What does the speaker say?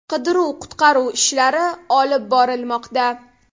Qidiruv-qutqaruv ishlari olib borilmoqda.